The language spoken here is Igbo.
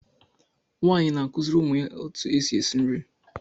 Nwaanyị na-akụziri ụmụ ya otú e si esi nri.